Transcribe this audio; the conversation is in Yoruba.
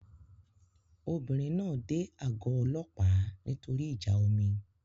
Obìnrin náà dé àgọ́ ọlọ́pàá nítorí ìjà omi